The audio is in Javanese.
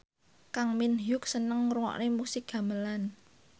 Kang Min Hyuk seneng ngrungokne musik gamelan